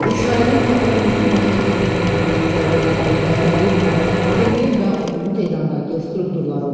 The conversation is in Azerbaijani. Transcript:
İsrailin bazar günü gecə İrana endirdiyi zərbələrin hədəfləri Müdafiə Nazirliyi və onun Tehrandakı strukturları olub.